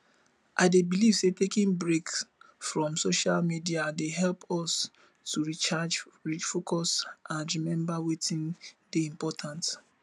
i dey believe say taking breaks from social media dey help us to recharge refocus and remember wetin dey important